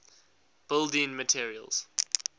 building materials